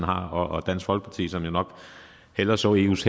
har og dansk folkeparti som jo nok hellere så eus